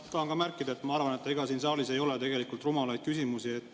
Ma tahan ka märkida, et ma arvan, et ega siin saalis ei ole tegelikult rumalaid küsimusi.